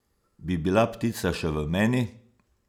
Bi bila ptica še v meni?